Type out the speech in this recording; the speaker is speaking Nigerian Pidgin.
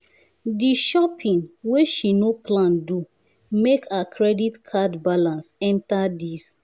the shopping wey she no plan don make her credit card balance enter these